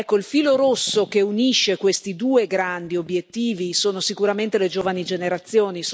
Ecco, il filo rosso che unisce questi due grandi obiettivi sono sicuramente le giovani generazioni.